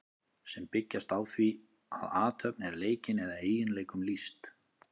sem byggjast á því að athöfn er leikin eða eiginleikum lýst